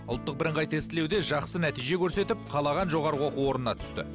ұлттық бірыңғай тестілеуде жақсы нәтиже көрсетіп қалаған жоғарғы оқу орнына түсті